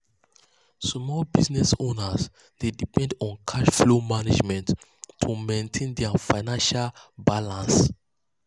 small business owners dey depend on cash flow management to maintain dia financial balance.